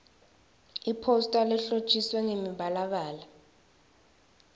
iphosta lehlotjiswe ngemibalabala